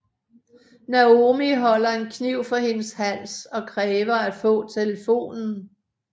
Naomi holder en kniv for hendes hals og kræver at få telefonen